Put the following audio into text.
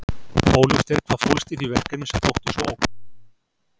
Óljóst er hvað fólst í því verkefni sem þótti svo ógna Kim.